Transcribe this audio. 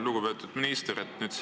Lugupeetud minister!